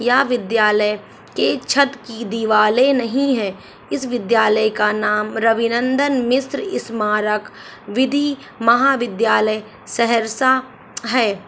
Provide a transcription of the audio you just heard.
यह विद्यालय के छत कि दीवारें नही हैं। इस विद्यालय का नाम रबिनंदन मिश्र स्मारक विधि महाविद्यालय सहरसा है।